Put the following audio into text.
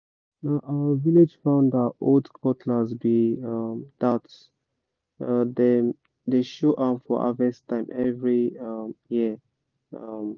na our village founder old cutlass be um that—dem dey show am for harvest time every um year um